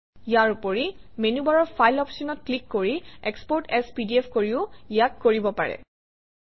ইয়াৰ উপৰি মেনুবাৰৰ ফাইল অপশ্যনত ক্লিক কৰি এক্সপোৰ্ট এএছ পিডিএফ কৰিও ইয়াক কৰিব পাৰি